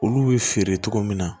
Olu bɛ feere cogo min na